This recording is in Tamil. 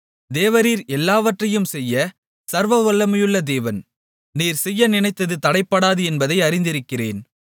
தேவரீர் எல்லாவற்றையும் செய்ய சர்வவல்லமையுள்ள தேவன் நீர் செய்ய நினைத்தது தடைபடாது என்பதை அறிந்திருக்கிறேன்